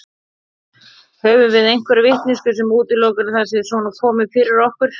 Höfum við einhverja vitneskju sem útilokar að það sé svona komið fyrir okkur?